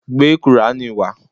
Gbé qùrání wá.